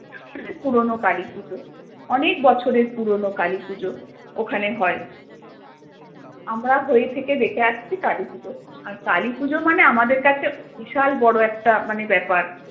পুরোনো কালী পুজো অনেক বছরের পুরোনো কালী পুজো ওখানে হয় আমরা হয়ে থেকে দেখে আসছি কালী পুজো আর কালী পুজো মানে আমাদের কাছে বিশাল বড় একটা মানে ব্যাপার